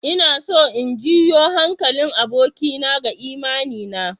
Ina so in janyo hankalin abokina ga imani na.